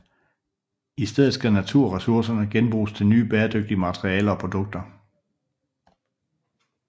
I stedet skal naturressourcerne genbruges til nye bæredygtige materialer og produkter